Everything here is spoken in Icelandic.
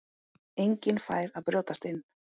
Enginn færi að brjótast inn.